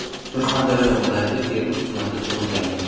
Surxondaryo viloyati Termiz tumanida tug‘ilganman.